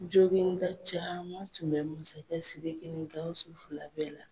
Jogin da caman tun bɛ masakɛ Siriki ni Gawusu fila bɛɛ la.